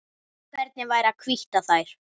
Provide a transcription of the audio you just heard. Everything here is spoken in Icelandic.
Hvernig væri að hvítta þær?